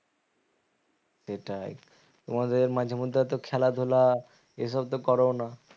সেটাই তোমাদের মাঝে মধ্যে তো খেলাধুলা এসব তো করোও না